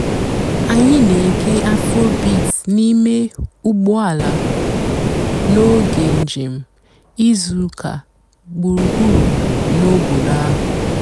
ányị́ nà-ège afróbeat n'íìmé ụ́gbọ́ àlà n'óge ǹjéém ìzú ụ́kà gbùrúgbùrú n'òbòdo àhú́.